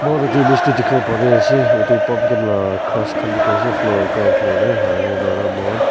aru tree bij teh dikhibo pare ase utu pumpkin lah grass khan dikhi ase floor ground floor teh hare dora mon--